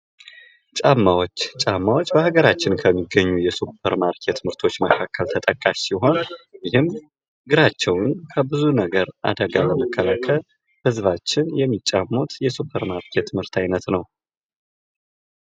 ጫማዎች ፦ ጫማዎች በሀገራችን ከሚገኙ የሱፐርማርኬት ምርቶች መካከል ተጠቃሽ ሲሆን ይህም እግራቸውን ከብዙ ነገር አደጋ ለመከላከል ህዝባችን የሚጫሙት የ ሱፐርማርኬት ምርት አይነት ነው ።